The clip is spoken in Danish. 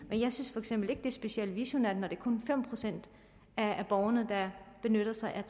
men jeg synes for eksempel ikke det specielt visionært når det kun er fem procent af borgerne der benytter sig af